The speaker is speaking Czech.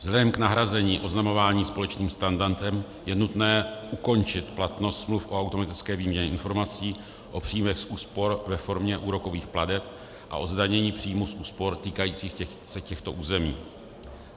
Vzhledem k nahrazení oznamování společným standardem je nutné ukončit platnost smluv o automatické výměně informací, o příjmech z úspor ve formě úrokových plateb a o zdanění příjmů z úspor týkajících se těchto území.